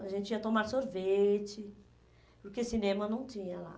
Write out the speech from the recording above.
A gente ia tomar sorvete, porque cinema não tinha lá.